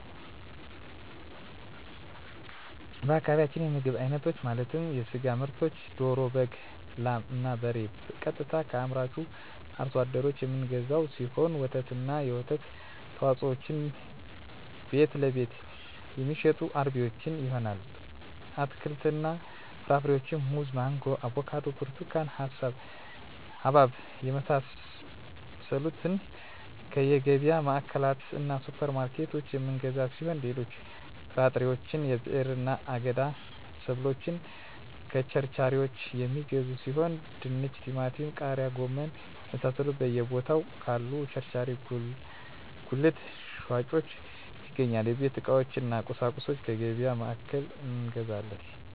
በአካባቢያችን የምግብ አይነቶች ማለትም የስጋ ምርቶችን ደሮ በግ ላም እና በሬ ቀጥታ ከአምራቹ አርሶ አደሮች የምንገዛው ሲሆን ወተትና የወተት ተዋፅኦዎችን ቤትለቤት የሚሸጡ አርቢዎች ይሆናል አትክልትና ፍራፍሬዎችን ሙዝ ማንጎ አቮካዶ ብርቱካን ሀባብ የመሳሰሉትከየገቢያ ማዕከላትእና ሱፐር ማርኬቶች የምንገዛ ሲሆን ሌሎች ጥራጥሬዎች የብዕርና የአገዳ ሰብሎችን ከቸርቻሪዎች የሚገዙ ሲሆን ድንች ቲማቲም ቃሪያ ጎመን የመሳሰሉት በየ ቦታው ካሉ ቸርቻሪ ጉልት ሻጮች ይገኛል የቤት ዕቃዎች እነ ቁሳቁሶች ከገቢያ ማዕከላት እንገዛለን